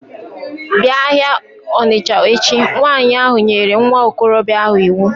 Bịa ahịa Ọnịsha echi! Nwanyị ahụ nyere nwa okorobịa ahụ iwu